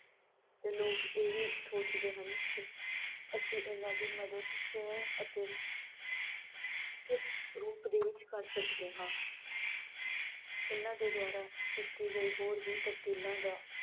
ਤੇ ਲੋਕ ਇਹ ਵੀ ਸੋਚਦੇ ਹਨ ਕਿ ਅਸੀਂ ਇਨ੍ਹਾਂ ਦੀ ਮਦਦ ਕਿਵੇਂ ਅਤੇ ਕਿਸ ਰੂਪ ਦੇ ਵਿਚ ਕਰ ਸਕਦੇ ਹਾਂ। ਇਨ੍ਹਾਂ ਦੇ ਦੁਆਰਾ ਕੀਤੀ ਗਈ ਹੋਰ ਵੀ ਤਬਦੀਲਾਂ ਦਾ